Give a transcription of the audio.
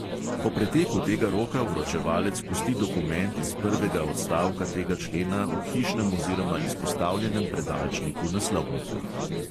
Po preteku tega roka vročevalec pusti dokument iz prvega odstavka tega člena v hišnem oziroma izpostavljenem predalčniku naslovnika.